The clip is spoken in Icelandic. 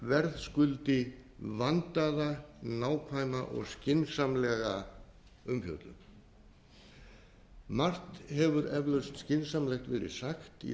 verðskuldi vandaða nákvæma og skynsamlega umfjöllun margt hefur eflaust skynsamlegt verið sagt í þeirri